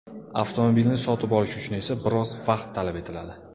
Avtomobilni sotib olish uchun esa biroz vaqt talab etiladi.